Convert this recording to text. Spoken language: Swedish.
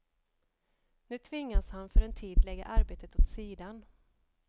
Nu tvingas han för en tid lägga arbetet åt sidan.